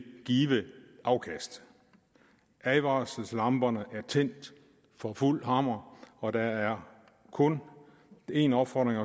give afkast advarselslamperne at tændt for fuld hammer og der er kun én opfordring